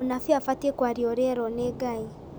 Mũnabii abatiĩ kwaria ũrĩa erwo nĩ Ngai